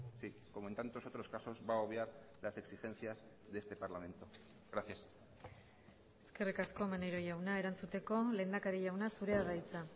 sí como en tantos otros casos va a obviar las exigencias de este parlamento gracias eskerrik asko maneiro jauna erantzuteko lehendakari jauna zurea da hitza